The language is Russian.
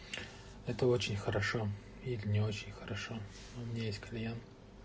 это очень хорошо или не очень хорошо у меня есть клиент